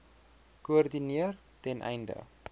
koördineer ten einde